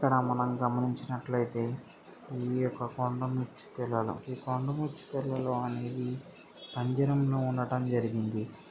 ఇక్కడ మనం గమనించినట్లయితే ఇవి కొండముచ్చు పిల్లలు. ఈ కొండముచ్చు పిల్లలు అనేవి పంజరం లో ఉండడం జరిగింది.